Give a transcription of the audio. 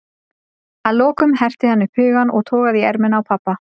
Að lokum herti hann upp hugann og togaði í ermina á pabba.